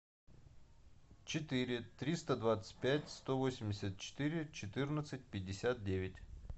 четыре триста двадцать пять сто восемьдесят четыре четырнадцать пятьдесят девять